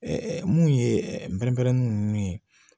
mun ye nunnu ye